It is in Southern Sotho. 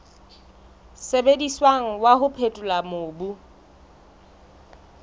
sebediswang wa ho phethola mobu